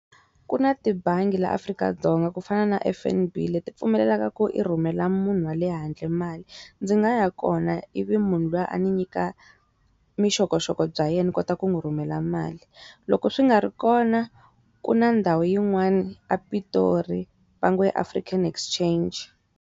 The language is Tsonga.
Ku na tibangi laa afrika-Dzonga ku fana na F_N_B leti pfumelelaka ku i rhumela munhu wale handle mali ndzi nga ya kona i vi munhu luya a ni nyika vuxokoxoko bya yena kota ku n'wi rhumela mali loko swi nga ri kona ku na ndhawu yin'wana ePitori va ngo i African Exchange.